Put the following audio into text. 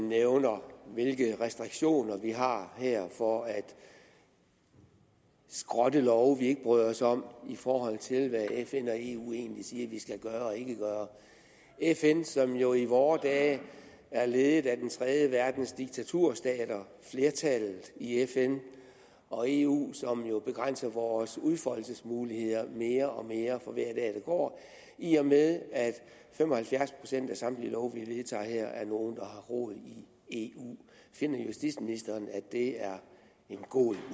nævner hvilke restriktioner vi har her for at skrotte love vi ikke bryder os om i forhold til hvad fn og eu siger vi skal gøre og ikke gøre fn som jo i vore dage er ledet af tredjeverdens diktaturstater flertallet i fn og eu som jo begrænser vores udfoldelsesmuligheder mere og mere for hver dag der går i og med at fem og halvfjerds procent af samtlige love vi vedtager her er nogle der har rod i eu finder justitsministeren at det er en god